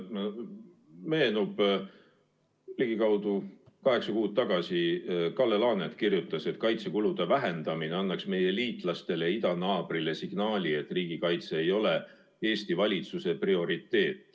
Meenub, et ligikaudu kaheksa kuud tagasi Kalle Laanet kirjutas, et kaitsekulude vähendamine annaks meie liitlastele ja idanaabrile signaali, et riigikaitse ei ole Eesti valitsuse prioriteet.